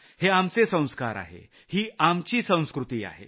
हे आमचे संस्कार आहेत ही आमची संस्कृती आहे